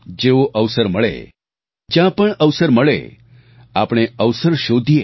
જેવો અવસર મળે જ્યાં પણ અવસર મળે આપણે અવસર શોધીએ